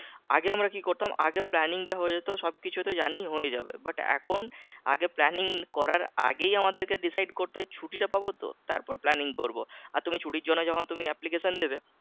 আগে আমরা কি করতাম আগে planning টা হয়ে যেত সবকিছু তো জানি হয়ে যাবে but এখন আগে planning করার আগেই আমাদেরকে decide করতে হয় ছুটিটা পাবো তো? তারপর planning করবো আর তুমি ছুটির জন্য যখন তুমি application দেবে